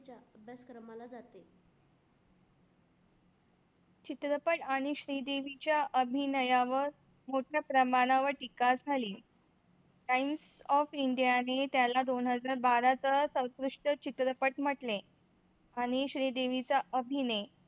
चित्रपट आणि श्रीदेवीच्या अभिनयावर मोठ्या प्रमाणावर टीका झाली. टाईम्स ऑफ इंडिया ने त्याला दोन हजार बारा चा सर्वोत्कृष्ट चित्रपट म्हटले. आणि श्रीदेवीचा अभिनय